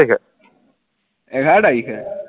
এঘাৰ তাৰিখে